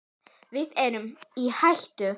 Við erum í hættu!